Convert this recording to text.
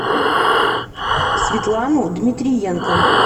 светлану дмитриенко